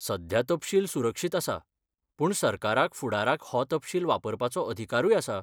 सध्या तपशील सुरक्षीत आसा, पूण सरकाराक फुडाराक हो तपशील वापरपाचो अधिकारूय आसा.